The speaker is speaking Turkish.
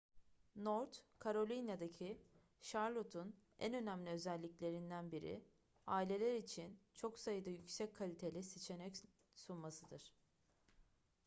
north carolina'daki charlotte'un en önemli özelliklerinden biri aileler için çok sayıda yüksek kaliteli seçenek sunmasıdır